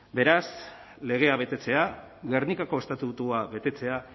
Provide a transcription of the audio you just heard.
beraz legea betetzea gernikako estatutua betetzea